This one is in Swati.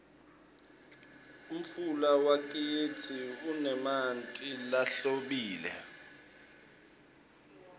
umfula wakitsi unemanti lahlobile